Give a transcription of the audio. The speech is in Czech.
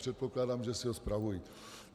Předpokládám, že si ho spravují.